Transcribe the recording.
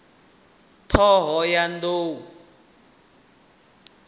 ṱhohoyanḓou